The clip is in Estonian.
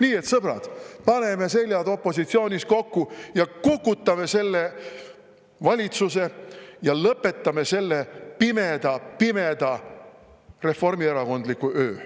Nii et sõbrad, paneme seljad opositsioonis kokku, kukutame selle valitsuse ja lõpetame selle pimeda-pimeda reformierakondliku öö.